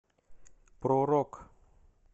про рок